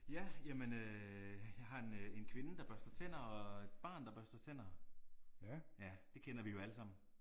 Ja jamen øh jeg har en en kvinde der børster tænder og et barn der børster tænder. Ja det kender vi jo alle sammen